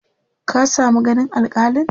ka samu ganin alkalin?